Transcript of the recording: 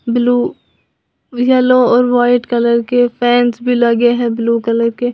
blue yellow और white colour के fans भी लगे हैं ब्लू कलर के--